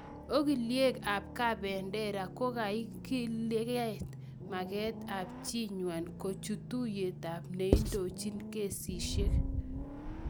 okoliek ap kabendera kogailitit maget ap chiinwa kochut tuiyet ap neindochin kesisiek